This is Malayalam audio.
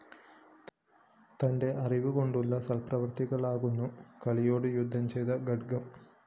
തന്റെ അറിവു കൊണ്ടുള്ള സല്‍പ്രവൃത്തികളാകുന്നു കലിയോടു യുദ്ധം ചെയ്ത ഖഡ്ഗം